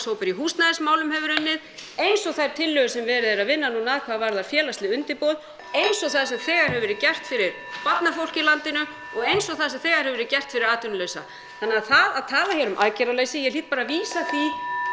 í húsnæðismálum hefur unnið eins og þær tillögur sem verið er að vinna að hvað varðar félagsleg undirboð eins og það sem þegar hefur verið gert fyrir barnafólkið í landinu og eins og það sem þegar hefur verið gert fyrir atvinnulausa þannig að það að tala hér um aðgerðarleysi ég hlýt bara að vísa því